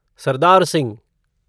Sardar Singh